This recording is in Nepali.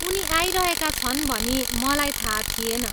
उनी आइरहेका छन् भनी मलाई थाहा थिएन।